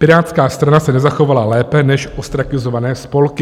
Pirátská strana se nezachovala lépe než ostrakizované spolky.